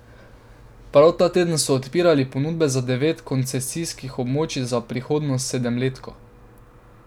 Prav ta teden so odpirali ponudbe za devet koncesijskih območij za prihodnjo sedemletko.